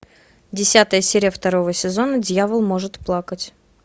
десятая серия второго сезона дьявол может плакать